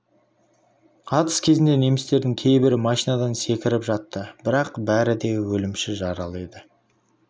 атыс кезінде немістердің кейбірі машинадан секіріп жатты бірақ бәрі де өлімші жаралы еді